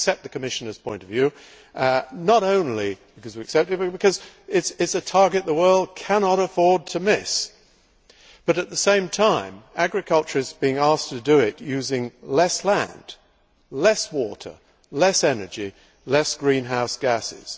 We accept the Commissioner's point of view, not only because we accept it, but because it is a target that the world cannot afford to miss. But, at the same time, agriculture is being asked to do it using less land, less water, less energy, less greenhouse gases.